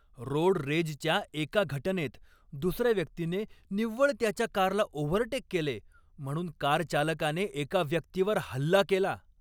Road रेजच्या एका घटनेत दुसऱ्या व्यक्तीने निव्वळ त्याच्या कारला ओव्हरटेक केले म्हणून कार चालकाने एका व्यक्तीवर हल्ला केला.